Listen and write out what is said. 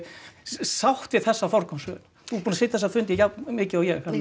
sátt við þessa forgangsröðun þú ert búin að sitja þessa fundi jafn mikið og